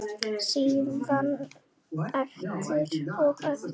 Síðan aftur og aftur.